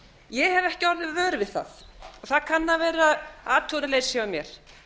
ég hef ekki orðið vör við það það kann að vera athugunarleysi hjá mér